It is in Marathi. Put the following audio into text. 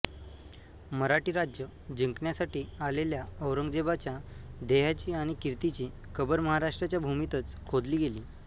मराठी राज्य जिंकण्यासाठी आलेल्या औरंगजेबाच्या देहाची आणि कीर्तीची कबर महाराष्ट्राच्या भूमीतच खोदली गेली